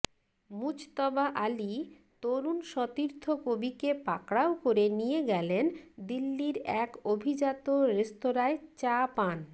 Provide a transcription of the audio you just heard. মুজতবা আলী তরুণ সতীর্থ কবিকে পাকড়াও করে নিয়ে গেলেন দিল্লির এক অভিজাত রেস্তোরাঁয় চা পান